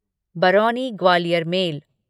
Barauni Gwalior mail